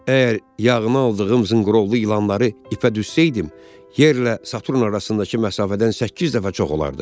Əgər yağına aldığım zınqırovlu ilanları ipə düzsəydim, yerlə Saturn arasındakı məsafədən səkkiz dəfə çox olardı.